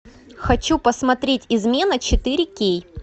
хочу посмотреть измена четыре кей